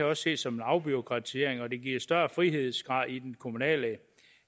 også ses som en afbureaukratisering og det giver en større frihedsgrad i den kommunale